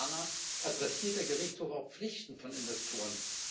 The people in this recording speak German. Ferner Adressiert der Gerichtshof auch Pflichten von Investoren?